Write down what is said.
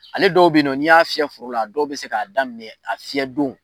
Ale dɔw be yen nɔn n'i y'a fiyɛ foro la, a dɔw bi se k'a daminɛ a fiyɛ don